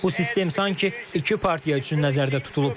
Bu sistem sanki iki partiya üçün nəzərdə tutulub.